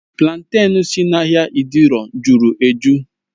Platen si n'ahịa idioro jụrụ ejụ́